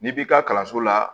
N'i b'i ka kalanso la